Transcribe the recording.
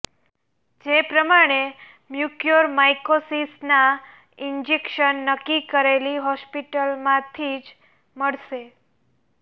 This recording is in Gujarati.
જે પ્રમાણે મ્યુકોરમાઈકોસિસના ઈન્જેક્શન નક્કી કરેલી હોસ્પિટલમાંથી જ મળશે